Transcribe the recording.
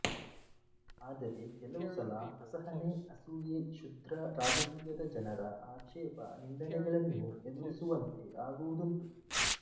ಆದರೆ ಕೆಲವು ಸಲ ಅಸಹನೆ ಅಸೂಯೆ ಕ್ಷುದ್ರ ರಾಜಕೀಯದ ಜನರ ಆಕ್ಷೇಪ ನಿಂದನೆಗಳನ್ನೂ ಎದುರಿಸುವಂತೆ ಆಗುವುದುಂಟು